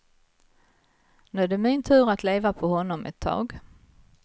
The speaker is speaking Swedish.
Nu är det min tur att leva på honom ett tag.